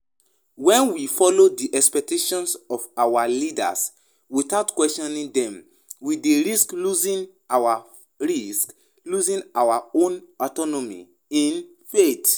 When we follow di expectations of our leaders without questioning dem, we dey risk losing our risk losing our own autonomy in faith.